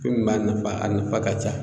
Fɛn min b'a nafa a nafa ka ca